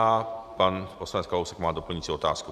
A pan poslanec Kalousek má doplňující otázku.